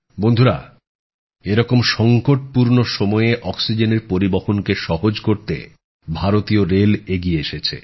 বন্ধুরা এরকম সংকটপূর্ণ সময়ে অক্সিজেনের পরিবহনকে সহজ করতে ভারতীয় রেল এগিয়ে এসেছে